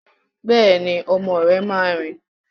Bẹ́ẹ̀ni, ọmọ rẹ máa rìn.